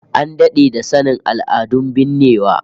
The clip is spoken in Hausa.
An dade da sanin al'adun binnewa